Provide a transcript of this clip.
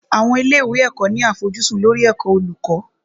Àwọn ilé ìwé ẹ̀kọ́ ní àfojúsùn lórí ẹ̀kọ́ olùkọ́.